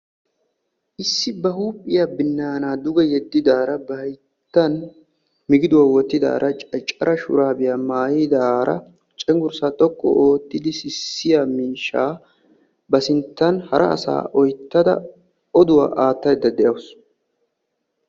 issi ba huuphiyaa binana dugee yediddara; hayttan migiduwaa wottidaaraa caccara shurabiyaa maayyidaara cenggurssa xoqqu oottidi sissiyaa miishsha ba sinttn hara asaa oyttada oduwaa aattaydda de'awus.